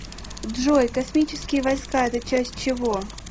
джой космические войска это часть чего